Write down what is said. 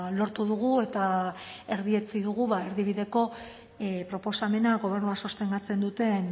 lortu dugu eta erdietsi dugu erdibideko proposamena gobernua sostengatzen duten